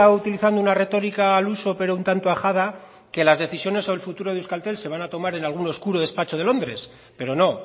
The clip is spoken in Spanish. utilizando una retórica al uso pero un tanto ajada que las decisiones del futuro de euskaltel se van a tomar en algún oscuro despacho de londres pero no